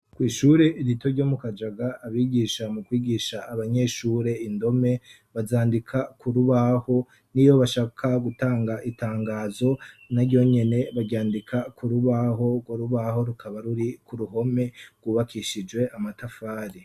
Kw'ishure rito ryo mu kajaga abigisha mu kwigisha abanyeshure indome bazandika ku rubaho niyo bashaka gutanga itangazo naryonyene baryandika ku rubaho urwo rubaho rukaba ruri ku ruhome rwubakishijwe amatafari.